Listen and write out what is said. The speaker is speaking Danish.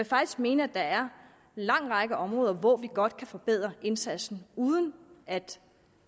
faktisk mene at der er en lang række områder hvor vi godt kan forbedre indsatsen uden at